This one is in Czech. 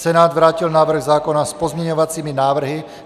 Senát vrátil návrh zákona s pozměňovacími návrhy.